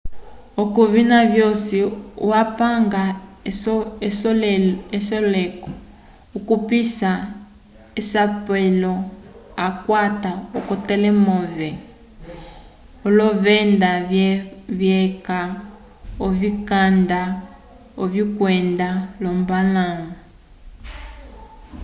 k'ovina vyosi apinge esoleko okupisa k'esapelo akwata k'etelemove l'olovenda vyeca ovikanda vyokwenda l'ombalãwu